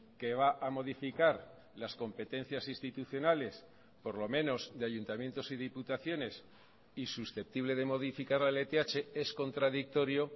que va a modificar las competencias institucionales por lo menos de ayuntamientos y diputaciones y susceptible de modificar la lth es contradictorio